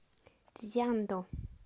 цзянду